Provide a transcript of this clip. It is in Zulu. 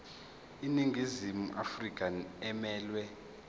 iningizimu afrika emelwe